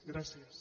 gràcies